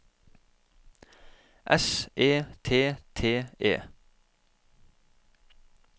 S E T T E